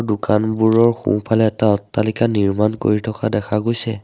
দোকানবোৰৰ সোঁফালে এটা অট্টালিকা নিৰ্মাণ কৰি থকা দেখা গৈছে।